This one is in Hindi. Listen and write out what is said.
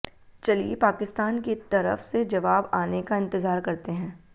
चलिए पाकिस्तान की तरफ से जवाब आने का इंतजार करते हैं